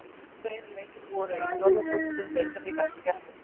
Tveir leikir voru í fjórðungsúrslitum Deildabikarsins í gærkvöld.